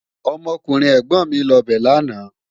Ọmọkùnrin ẹ̀gbọ̀n mi lọ bẹ̀ lánàá